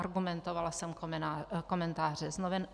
Argumentovala jsem komentáři z novin.